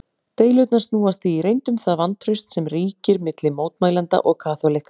Deilurnar snúast því í reynd um það vantraust sem ríkir milli mótmælenda og kaþólikka.